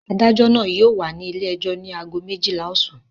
Adájọ́ náà yóò wà ní ilé-ẹjọ́ ní ago méjìlá ọ̀sán.